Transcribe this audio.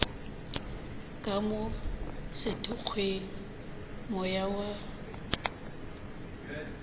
ka mo sethokgweng moya wa